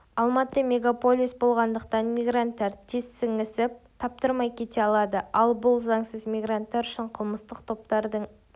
алматы мегаполис болғандықтан мигранттар тез сіңісіп таптырмай кете алады ал бұл заңсыз мигранттар үшін қылмыстық топтардың